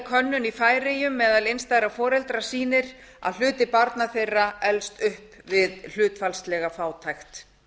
könnun í færeyjum meðal einstæðra foreldra sýnir að hluti barna þeirra elst upp við hlutfallslega fátækt